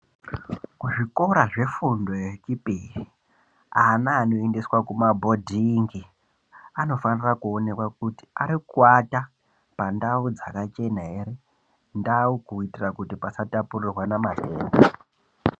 Kuzvikora zvefundo yechipiri, ana anoendeswa kumabhondingi anofanira kuonekwa kuti arikuata pandau dzakachena ere, ndau kuitira kuti pasa tapurirwana matenda.